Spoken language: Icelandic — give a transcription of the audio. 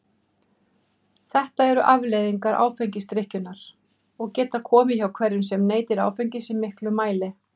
Þetta eru afleiðingar áfengisdrykkjunnar og geta komið hjá hverjum sem neytir áfengis í miklum mæli.